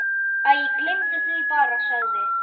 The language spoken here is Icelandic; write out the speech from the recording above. Æ, gleymdu því bara- sagði